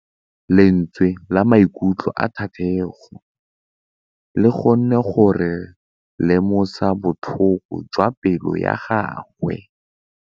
Lentswe la maikutlo a Thategô le kgonne gore re lemosa botlhoko jwa pelô ya gagwe.